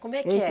Como é que